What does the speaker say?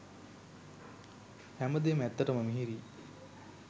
හැමදේම ඇත්තටම මිහිරියි